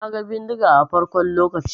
Na gan bindiga na farkon lokacin.